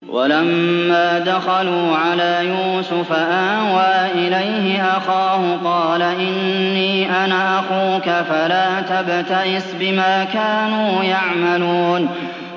وَلَمَّا دَخَلُوا عَلَىٰ يُوسُفَ آوَىٰ إِلَيْهِ أَخَاهُ ۖ قَالَ إِنِّي أَنَا أَخُوكَ فَلَا تَبْتَئِسْ بِمَا كَانُوا يَعْمَلُونَ